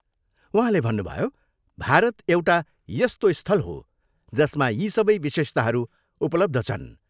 उहाँले भन्नुभयो, भारत एउटा यस्तो स्थल हो जसमा यी सबै विशेषताहरू उपलब्ध छन्।